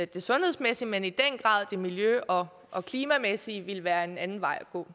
det sundhedsmæssige men i den grad det miljø og og klimamæssige ville være en anden vej at gå